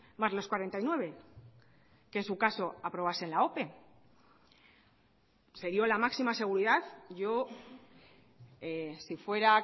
más los cuarenta y nueve que en su caso aprobase la ope se dio la máxima seguridad yo si fuera